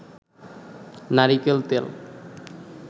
নারিকেল তেল